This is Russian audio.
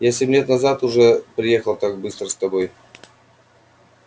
я семь лет назад уже раз приехал так быстро с тобой